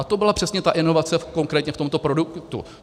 A to byla přesně ta inovace konkrétně v tomto produktu.